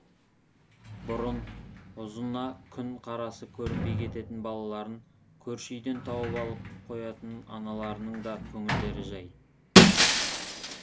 бұрын ұзына күн қарасы көрінбей кететін балаларын көрші үйден тауып ала қоятын аналарының да көңілдері жәй